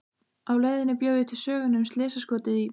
Á leiðinni bjó ég til söguna um slysaskotið í